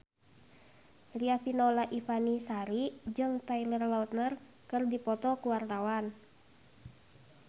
Riafinola Ifani Sari jeung Taylor Lautner keur dipoto ku wartawan